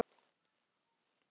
Ég lifi á því að skjóta svín.